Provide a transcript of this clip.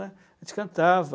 A gente cantava.